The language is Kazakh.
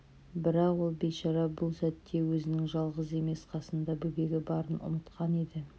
бірақ ол бейшара бұл сәтте өзінің жалғыз емес қасында бөбегі барын ұмытқан еді